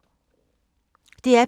DR P2